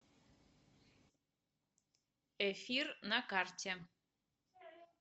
эфир на карте